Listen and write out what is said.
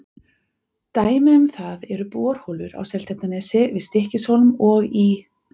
Dæmi um það eru borholur á Seltjarnarnesi, við Stykkishólm og í